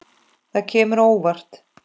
Það kemur á óvart.